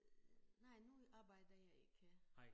Nej nu arbejder jeg ikke